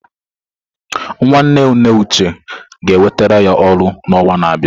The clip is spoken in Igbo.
Nwanne nne Uche ga-enwetara ya ọrụ n'ọnwa na-abịa.